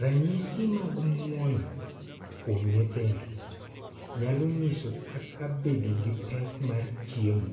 Ranyisi mag mwonyo kuom nyithindo nyalo nyiso kaka bedo gi pek mar chiemo